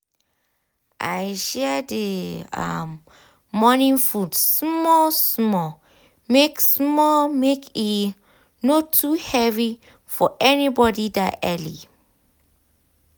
i share the um morning food um small small make small make e um no too heavy for anybody that early.